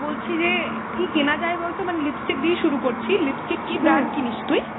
বলছি যে কী কেনা যায় বলতো ? মানে lipstick দিয়েই শুরু করছি। lipstick কী brand কিনিস তুই ?